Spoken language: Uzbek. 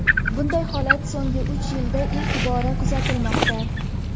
Bunday holat so‘nggi uch yilda ilk bora kuzatilmoqda.